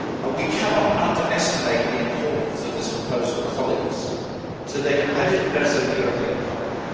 We cannot underestimate the importance of this proposal to the competitiveness of the European economy.